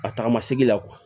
A tagama segi la